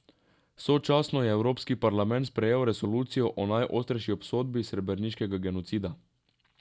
Sočasno je Evropski parlament sprejel resolucijo o najostrejši obsodbi srebreniškega genocida.